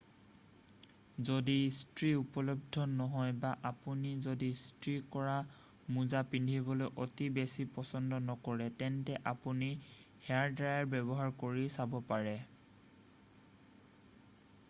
যদি ইস্ত্ৰী উপলব্ধ নহয় বা আপুনি যদি ইস্ত্ৰী কৰা মোজা পিন্ধিবলৈ অতি বেছি পচন্দ নকৰে তেন্তে আপুনি হেয়াৰড্ৰায়াৰ ব্যৱহাৰ কৰি চাব পাৰে